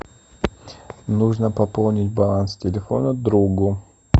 нужно пополнить баланс телефона другу